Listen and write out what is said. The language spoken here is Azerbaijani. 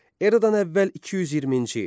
Eradan əvvəl 220-ci il.